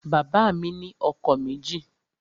Bàbá mi ni ọkọ̀ méjì